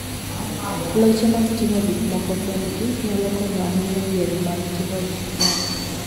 Loche mag ting'o gik moko kendgi, nyalo konyo ahinya e yore mag ting'o gik moko.